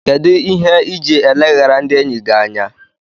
Kedụ ihe iji eleghara ndị enyi gị anya?